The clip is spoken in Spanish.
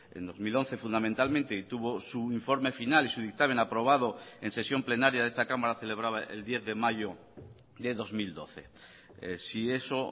en dos mil once fundamentalmente y tuvo su informe final y su dictamen aprobado en sesión plenaria de esta cámara celebrada el diez de mayo de dos mil doce si eso